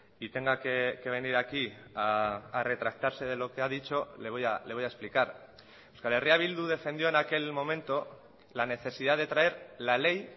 y tenga que venir aquí a retractarse de lo que ha dicho le voy a explicar euskal herria bildu defendió en aquel momento la necesidad de traer la ley